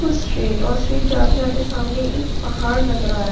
कुछ स्ट्रैट और स्ट्रैट जाते-जाते सामने एक पहाड़ नजर आ रहा हैं पहाड़--